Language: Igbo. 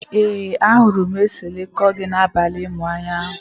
Ee, ahụrụ m uwe silku gị n'abalị ụnyaahụ.